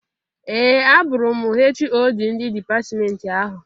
Ee! Abụrụ m HoD ndị dipatmenti ahụ.